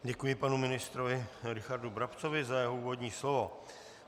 Děkuji panu ministrovi Richardu Brabcovi za jeho úvodní slovo.